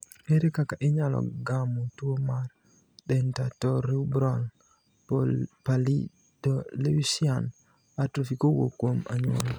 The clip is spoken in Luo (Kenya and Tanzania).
Ere kaka inyalo gamo tuo mar dentatorubral pallidoluysian atrophy kowuok kuom anyuola?